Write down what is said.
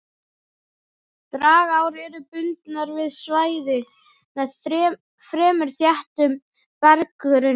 Dragár eru bundnar við svæði með fremur þéttum berggrunni.